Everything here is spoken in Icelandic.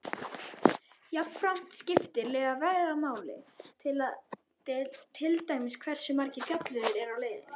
Jafnframt skiptir lega vega máli, til dæmis hversu margir fjallvegir eru á leiðinni.